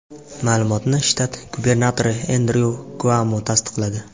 Ma’lumotni shtat gubernatori Endryu Kuomo tasdiqladi.